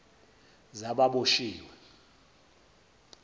zababoshiwe